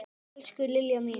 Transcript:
Elsku Lilja mín.